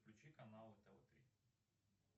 включи канал тв три